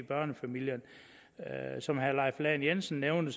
børnefamilierne som herre leif lahn jensen nævnte